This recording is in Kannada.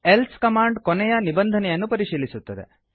ಎಲ್ಸೆ ಕಮಾಂಡ್ ಕೊನೆಯ ನಿಬಂಧನೆಯನ್ನು ಪರಿಶೀಲಿಸುತ್ತದೆ